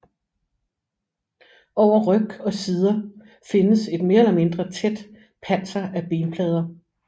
Over ryg og sider findes et mere eller mindre tæt panser af benplader